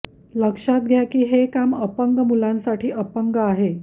लक्षात घ्या की हे काम अपंग मुलांसाठी अपंग आहे